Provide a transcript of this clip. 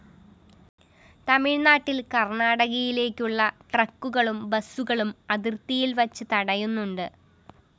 തമിഴ്നാട്ടില്‍ കര്‍ണാടകയിലേക്കുള്ള ട്രക്കുകളും ബസുകളും അതിര്‍ത്തിയില്‍ വച്ച് തടയുന്നുണ്ട്